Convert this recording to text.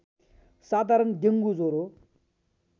साधारण डेङ्गु ज्वरो